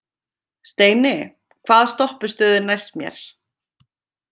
Steini, hvaða stoppistöð er næst mér?